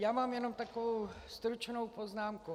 Já mám jen takovou stručnou poznámku.